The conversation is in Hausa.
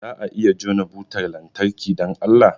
Za a iya jona butar lantarki, don Allah?